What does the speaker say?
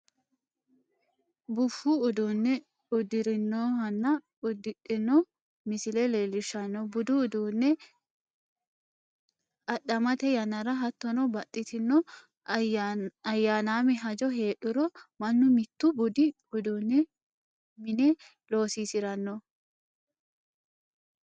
Bufu uddune udirinohhanna udi'dhino misile leelishanno, budu uduu'ne adhamete yanara hattonno baxitinno ayanamme hajo heedhuro manu mitu budu iduuni mine loosisiranno